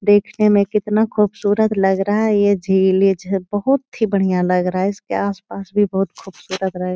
देखने में कितना ख़ूबसूरत लग रहा है। ये झील ये झ बहुत ही बढ़िया लग रहा है। इसके आस-पास भी बहुत खूबसूरत--